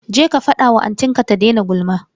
Je ka fada wa anti ka ta daina gulma.